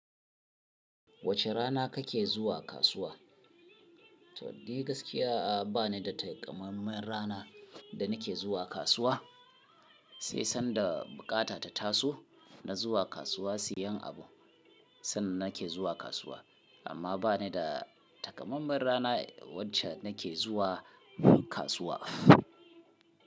Wace rana kake zuwa kasuwa? To, dai gaskiya ba ni da takammamen rana da nake zuwa kasuwa. Sai sanda bukata ta taso na zuwa kasuwa siyan abu, sannan nake zuwa kasuwa. Amma ba ni da takammamen rana wacce nake zuwa kasuwa.